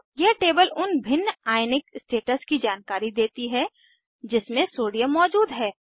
यह टेबल उन भिन्न आयनिक स्टेट्स की जानकारी देती है जिसमे सोडियम मौजूद है